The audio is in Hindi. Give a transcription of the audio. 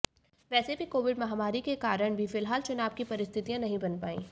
वैसे भी कोविड महामारी के कारण भी फिलहाल चुनाव की परिस्थितियां नहीं बन पाईं